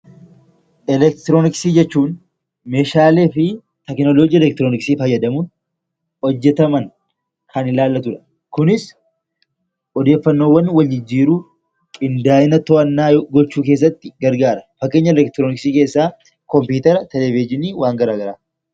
Elektirooniksii jechuun meeshaalee fi teknooloojii elektirooniksii fayyadamuun hojjetaman kan ilaallatu yemmuu ta'u, kunis odeeffannoowwan waljijjiiruuf, qindaa'ina to'annaa gochuu keessatti gargaara. Fakkeenya elektirooniksii keessaa kompiitarri, televizhiniifi waan gara garaadha.